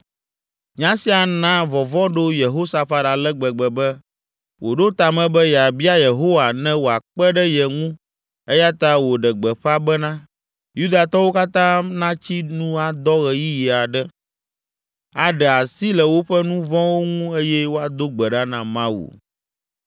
Nya sia na vɔvɔ̃ ɖo Yehosafat ale gbegbe be, wòɖo ta me be yeabia Yehowa ne wòakpe ɖe ye ŋu eya ta wòɖe gbeƒã bena, Yudatɔwo katã natsi nu adɔ ɣeyiɣi aɖe, aɖe asi le woƒe nu vɔ̃wo ŋu eye woado gbe ɖa na Mawu.